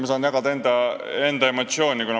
Ma saan jällegi jagada enda emotsiooni.